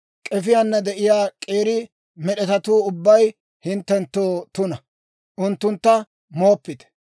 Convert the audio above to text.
K'efiyaana de'iyaa k'eeri med'etatuu ubbay hinttenttoo tuna; unttuntta mooppite.